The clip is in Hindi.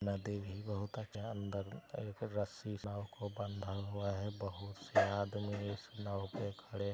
नदी भी बहुत अच्छा अंदर एक रस्सी से नाव को बांधा हुआ है बहुत से आदमी इस नाव पे खड़े--|